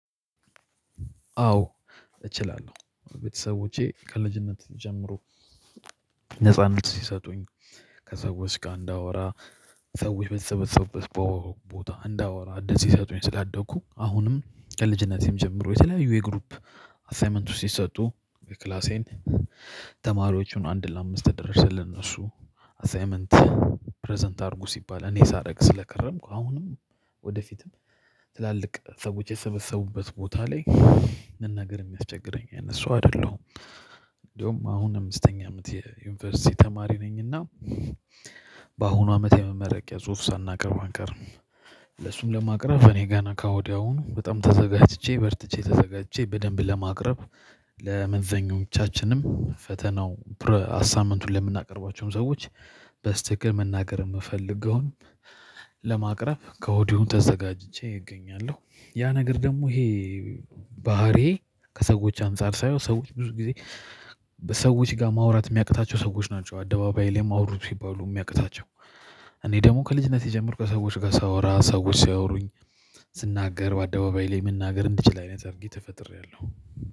አዎ እችላለሁ ቤተሰቦቼ ከልጅነት ጀምሮ ነጻነት ሲሰጡኝ ከሰዎች ጋር እንዳወራ ሰዎች በተሰበሰቡበት ቦታ እንዳወራ እድል ሲሰጡኝ ስላደኩ አሁንም ከልጅነቴም ጀምሮ የተለያዩ የግሩፕ አሳይመንት ውስጥ ሲሰጡ ክላሴን ተማሪዎቹን አንድ ለአምስት ተደርሰልን እሱ አሳይመንት ፕረዘንት አድርጉ ሲባል እኔ ሳረግ ስለከረምኩ አሁንም ወደፊትም ትላልቅ ሰዎች የተሰበሰቡበት ቦታ ላይ መናገር የሚያስቸግረኝ አይነት ሰው አይደለሁም እንደውም አሁን አምስተኛ አመት የዩኒቨርሲቲ ተማሪ ነኝና በአሁኑ አመት የመመረቂያ ጽሁፍ ሳናቀርብ አንቀርም ለሱም ለማቅረብ እኔ ገና ከወዲያውኑ በጣም ተዘጋጅቼ በርትቼ ተዘጋጅቼ በደንብ ለማቅረብ ለመዛኞቻችንም ፈተናው አሳይምቱን ለምናቀርቧቸውም ሰዎች በስተክክል መናገር የምፈልገውን ለማቅረብ ከወዲሁ ተዘጋጅቼ እገኛለሁ። ያ ነገር ደግሞ ይሄ ባህሪዬ ከሰዎች አንፃር ሳየው ሰዎች ብዙ ጊዜ በሰዎች ጋር ማውራት የሚያቅታቸው ሰዎች ናቸው። አደባባይ ላይም አውሩ ሲባሉ የሚያቅታቸው እኔ ደግሞ ከልጅነቴ ጀምሮ ሰዎች ጋር ሳወራ ሰዎች ሲያወሩኝ ስናገር በአደባባይ ላይ መናገር እንድችል አይነት አድርጌ ተፈጥሬያለሁ።